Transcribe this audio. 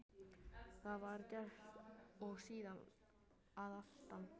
Það var gert og síðan að aftan.